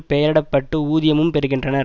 பெயரிடப்பட்டு ஊதியமும் பெறுகின்றனர்